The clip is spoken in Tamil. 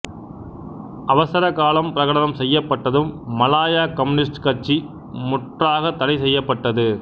அவசரகாலம் பிரகடனம் செய்யப்பட்டதும் மலாயா கம்யூனிஸ்டு கட்சி முற்றாகத் தடை செய்யப்பட்டது